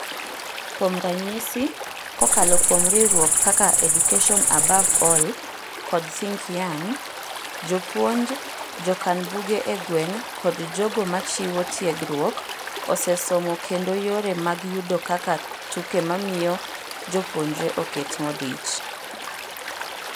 Kuom ranyisi, kokalo kuom riwruok kakaEducation Above All, kod Think Young ,,jopuonj, jokan buge egweng' kod jogo machiwo tiegruok osee somo kendo yore mag yudo kaka tukemamiyo jopuonjre oket modich.